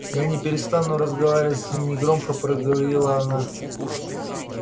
я не перестану разговаривать с ним негромко проговорила она